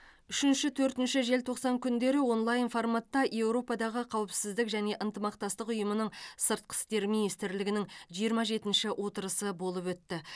үшінші төртінші желтоқсан күндері онлайн форматта еуропадағы қауіпсіздік және ынтымақтастық ұйымының сыртқы істер министрлерінің жиырма жетінші отырысы болып өтті